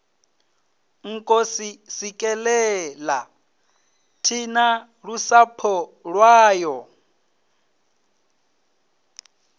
nkosi sikelela thina lusapho lwayo